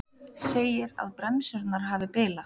Segir að bremsurnar hafi bilað